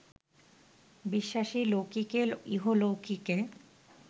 বিশ্বাসী লৌকিকে, ইহলৌকিকে